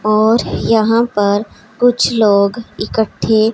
और यहां पर कुछ लोग इकट्ठे --